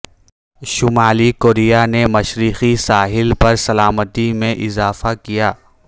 شمالی کوریا نے مشرقی ساحل پر سلامتی میں اضافہ کیا